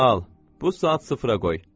Al, bu saat sıfıra qoy.